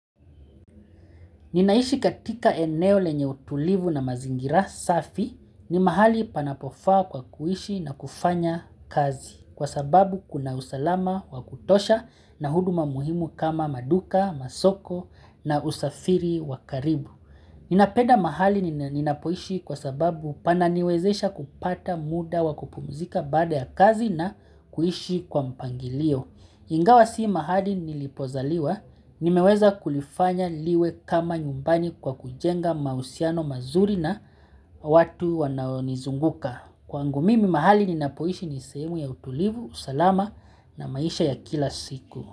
Ninaishi katika eneo lenye utulivu na mazingira safi, ni mahali panapofaa kwa kuishi na kufanya kazi kwa sababu kuna usalama wa kutosha na huduma muhimu kama maduka, masoko na usafiri wakaribu. Ninapenda mahali ninapoishi kwa sababu pananiwezesha kupata muda wakupumzika baada ya kazi na kuishi kwa mpangilio. Ingawa si mahali nilipozaliwa, nimeweza kulifanya liwe kama nyumbani kwa kujenga mahusiano mazuri na watu wanaonizunguka. Kwaangu mimi, mahali ninapoishi ni sehemu ya utulivu, salama na maisha ya kila siku.